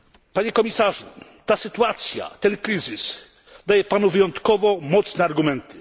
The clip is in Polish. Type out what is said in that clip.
Panie Komisarzu, ta sytuacja, ten kryzys daje Panu wyjątkowo mocne argumenty.